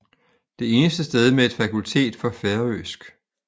Det eneste sted med et fakultet for færøsk